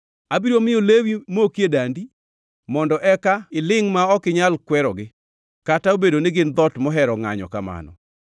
Abiro miyo lewi moki e dandi, mondo eka ilingʼ ma ok inyal kwerogi, kata obedo ni gin dhoot mohero ngʼanyo kamano.